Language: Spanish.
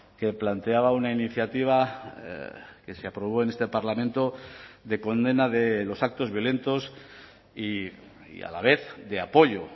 que planteaba una iniciativa que se aprobó en este parlamento de condena de los actos violentos y a la vez de apoyo